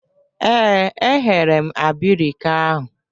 Ee, e ghere m abirika ahụ.